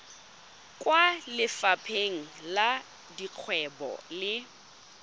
kwa lefapheng la dikgwebo le